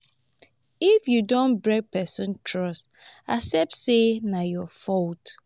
if you don break person trust accept sey na your fault